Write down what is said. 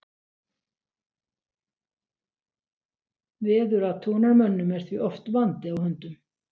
Veðurathugunarmönnum er því oft vandi á höndum.